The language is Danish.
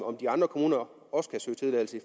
om de andre kommuner